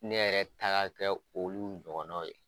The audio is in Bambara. Ne yɛrɛ ta ka kɛ olu ɲɔgɔnnaw ye.